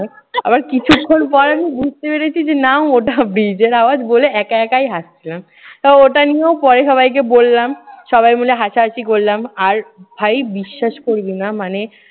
আবার কিছুক্ষণ পর আমি বুঝতে পেরেছি যে না ওটা bridge এর আওয়াজ। বলে একা একাই হাসছিলাম। তাও ওটা নিয়েও পরে সবাইকে বললাম। সবাই মিলে হাসাহাসি করলাম। আর ভাই বিশ্বাস করবি না মানে